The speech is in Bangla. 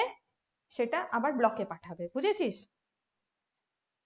সেটা আবার block এ পাঠাবে বুজেছিস